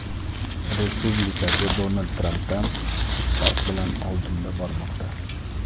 respublikachi Donald Trampdan kichik farq bilan oldinda bormoqda.